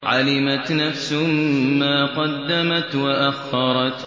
عَلِمَتْ نَفْسٌ مَّا قَدَّمَتْ وَأَخَّرَتْ